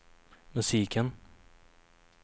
musiken